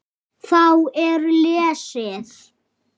Þá er lesið